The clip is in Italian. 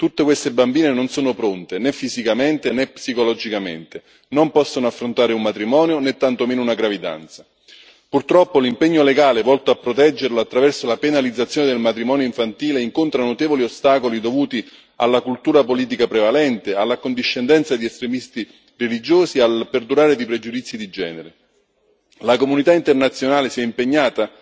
Tutte queste bambine non sono pronte né fisicamente, né psicologicamente, non possono affrontare un matrimonio, né tantomeno una gravidanza. Purtroppo, l'impegno legale volto a proteggerlo attraverso la penalizzazione del matrimonio infantile incontra notevoli ostacoli dovuti alla cultura politica prevalente, all'accondiscendenza di estremisti religiosi e al perdurare di pregiudizi di genere. La comunità internazionale si è impegnata